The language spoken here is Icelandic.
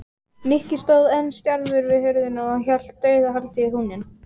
Nikki stóð enn stjarfur við hurðina og hélt dauðahaldi í húninn.